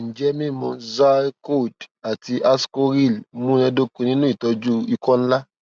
njẹ mimu zyrcold ati ascoril munadoko ninu itọju ikọ nla